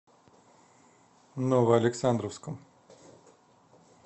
новоалександровском